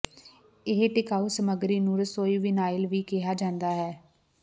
ਇਹ ਟਿਕਾਊ ਸਮੱਗਰੀ ਨੂੰ ਰਸੋਈ ਵਿਨਾਇਲ ਵੀ ਕਿਹਾ ਜਾਂਦਾ ਹੈ